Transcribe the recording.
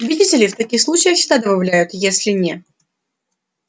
видите ли в таких случаях всегда добавляют если не